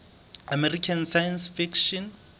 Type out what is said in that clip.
american science fiction